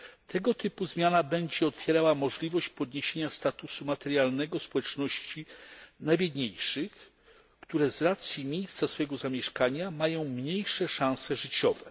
Tego typu zmiana będzie otwierała możliwość podniesienia statusu materialnego społeczności najbiedniejszych, które z racji miejsca zamieszkania mają mniejsze szanse życiowe.